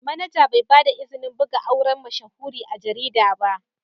Manaja Bai ba da izini a buga auren mashahuri a garida ba.